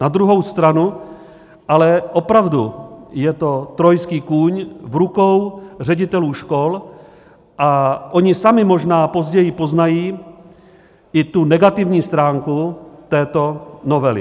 Na druhou stranu ale opravdu je to trojský kůň v rukou ředitelů škol a oni sami možná později poznají i tu negativní stránku této novely.